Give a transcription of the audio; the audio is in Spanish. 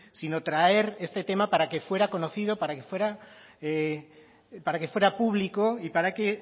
sino traer este tema para que fuera conocido para que fuera público y para que